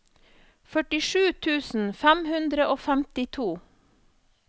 førtisju tusen fem hundre og femtito